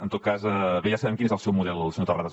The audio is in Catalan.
en tot cas bé ja sabem quin és el seu model senyor terrades